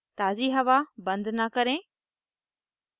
ताज़ी हवा बंद न करें